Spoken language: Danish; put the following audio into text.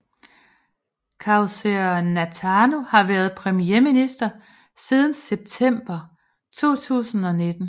Kausea Natano har været premierminister siden september 2019